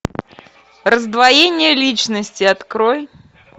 раздвоение личности открой